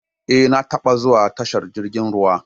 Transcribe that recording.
Eh, na taɓa zuwa tashar jirgin ruwa